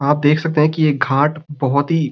आप दिख सकते है कि यह घाट बहुत ही --